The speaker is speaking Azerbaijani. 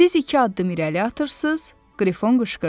Siz iki addım irəli atırsız, Qrifon qışqırdı.